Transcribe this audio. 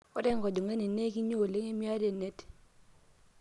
ore enkojing'ani naa ekinya oleng emiata enet